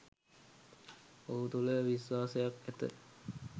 ඔහු තුළ විශ්වාසයක් ඇත.